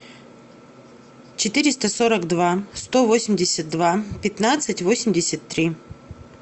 четыреста сорок два сто восемьдесят два пятнадцать восемьдесят три